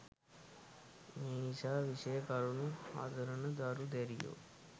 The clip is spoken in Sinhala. මේ නිසා විෂය කරුණු හදාරන දරු දැරියෝ